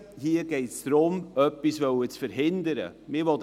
Hier geht es darum, etwas verhindern zu wollen.